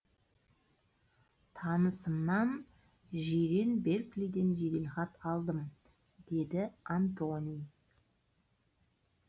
танысымнан жирен берклиден жеделхат алдым деді антони